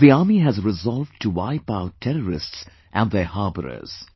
The Army has resolved to wipe out terrorists and their harbourers